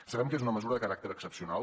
sabem que és una mesura de caràcter excepcional